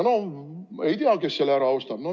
No ei tea, kes selle ära ostab.